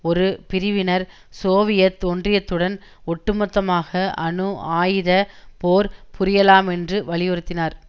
ஒரு பிரிவினர் சோவியத் ஒன்றியத்துடன் ஒட்டுமொத்தமாக அணு ஆயுத போர் புரியலாம் என்று வலியுறுத்தினார்